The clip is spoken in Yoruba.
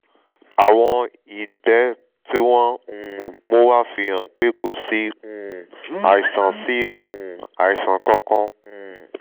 àwọ̀n ìgbẹ́ tí wọ́n um mú wá fi hàn pé kò sí um àìsàn sí um àìsàn kankan um